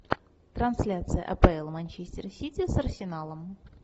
трансляция апл манчестер сити с арсеналом